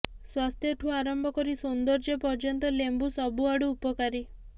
ସ୍ୱାସ୍ଥ୍ୟଠୁ ଆରମ୍ଭ କରି ସୌନ୍ଦର୍ଯ୍ୟ ପର୍ଯ୍ୟନ୍ତ ଲେମ୍ବୁ ସବୁଆଡ଼ୁ ଉପକାରୀ